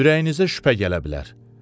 Ürəyinizə şübhə gələ bilər.